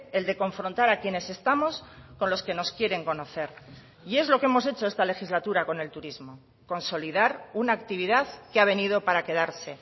el de confrontar a quienes estamos con los que nos quieren conocer y es lo que hemos hecho esta legislatura con el turismo consolidar una actividad que ha venido para quedarse